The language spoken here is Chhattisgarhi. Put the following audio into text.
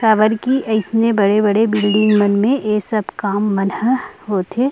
काबर की ऐसने बड़े - बड़े बिल्डिंग मन में ए सब काम मन होथे।